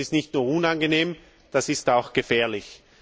Das ist nicht nur unangenehm, das ist auch gefährlich.